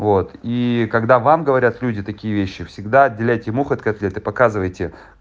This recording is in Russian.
вот и когда вам говорят люди такие вещи всегда отделяйте мух от котлет и показывайте